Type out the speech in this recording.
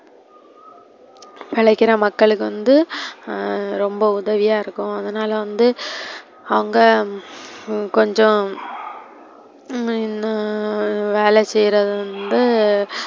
மெனக்கிடா மக்களுக்கு வந்து அஹ் ரொம்ப உதவியா இருக்கு அதுனால வந்து அவங்க கொஞ்சோ உம் னு வேல செய்றவங்க,